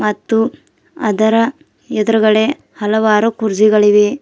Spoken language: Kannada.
ಮತ್ತು ಅದರ ಎದ್ರುಗಡೆ ಹಲವಾರು ಕುರ್ಚಿಗಳಿವೆ.